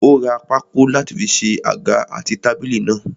Ó ra pákó láti fi ṣe àga àti tábìlì náà.